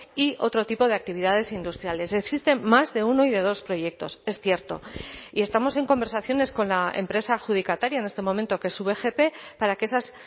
y otro tipo de actividades industriales existen más de uno y de dos proyectos es cierto y estamos en conversaciones con la empresa adjudicataria en este momento que su vgp para que esas